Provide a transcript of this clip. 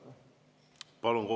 Palun!